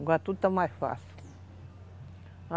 Agora tudo está mais fácil.